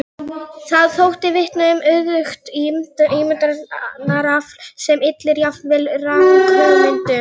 Það þótti vitna um auðugt ímyndunarafl sem ylli jafnvel ranghugmyndum.